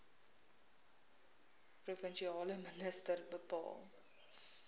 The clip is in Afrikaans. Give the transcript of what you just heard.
provinsiale minister bepaal